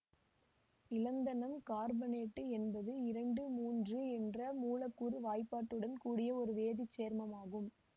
இலந்தனம் carbonate என்பது இரண்டு மூன்று என்ற மூலக்கூற்று வாய்ப்பாடுடன் கூடிய ஒரு வேதி சேர்மமாகும்